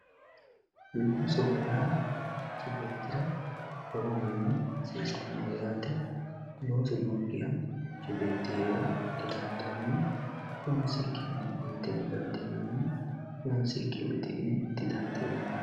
Loosoho yaa manchi beettira lowohunni hasiisanoho yaate loosu nookkiha manchu beetti heere didandaano loonsikkini inte didandiinanni loonsikki uddi'ne didandiinanni.